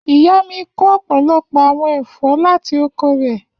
Iya mi ko ọpọlọpọ awọn ẹfọ lati oko rẹ